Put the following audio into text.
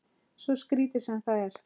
Svo skrítið sem það er.